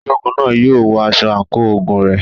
Ológun náà yóò wọ aṣọ àǹkóò ogun rẹ̀.